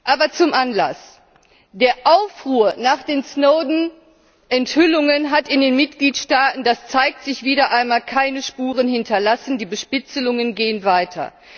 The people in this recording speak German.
Aber zum Anlass Der Aufruhr nach den Snowden Enthüllungen hat in den Mitgliedstaaten das zeigt sich wieder einmal keine Spuren hinterlassen. Die Bespitzelungen gehen weiter.